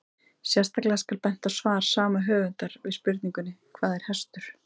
Sérstaklega skal bent á svar sama höfundar við spurningunni Hvað er hestur?